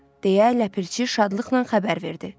deyə Ləpirçi şadlıqla xəbər verdi.